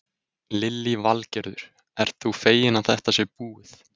Lillý Valgerður: Ert þú feginn að þetta sé búið?